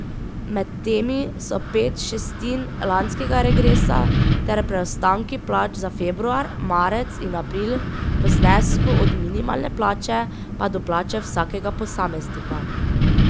Med temi so pet šestin lanskega regresa ter preostanki plač za februar, marec in april v znesku od minimalne plače pa do plače vsakega posameznika.